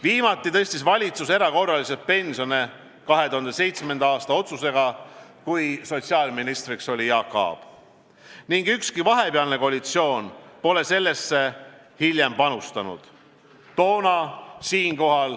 Viimati tõstis valitsus erakorraliselt pensione 2007. aasta otsusega, kui sotsiaalministriks oli Jaak Aab, ning ükski vahepealne koalitsioon pole sellesse hiljem panustanud.